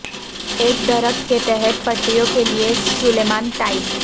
ایک درخت کے تحت پٹریوں کے لئے سلیمان ٹائل